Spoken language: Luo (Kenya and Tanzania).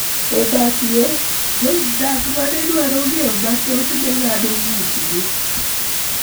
E bath yo, jodak ma ne dwaro ng�eyo mathoth ne ng�ado ng�utgi